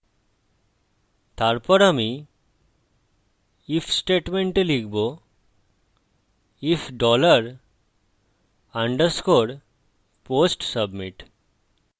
তারপর আমি if স্টেটমেন্টে লিখব if dollar underscore post submit